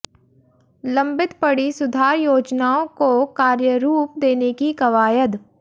लंबित पड़ी सुधार योजनाओं को कार्यरूप देने की कवायद